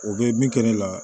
O bɛ min kɛ ne la